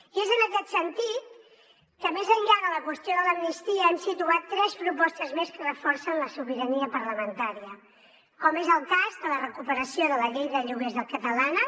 i és en aquest sentit que més enllà de la qüestió de l’amnistia hem situat tres propostes més que reforcen la sobirania parlamentària com és el cas de la recuperació de la llei de lloguers catalana